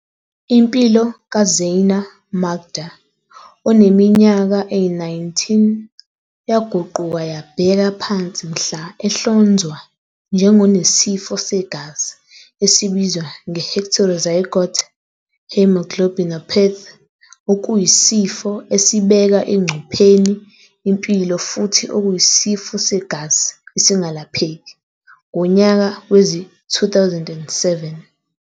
Impilo ka-Zyaan Makda, one minyaka eyi-19, yaguquka yabheka phansi mhla ehlonzwa njengonesifo segazi esibizwa nge-heterozygote haemoglobinopathy, okuyisifo esibeka engcupheni impilo futhi okuyisifo segazi esingalapheki, ngonyaka wezi-2007.